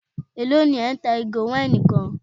Élò ní ẹ́ ń ta ìgò wáìnì kan?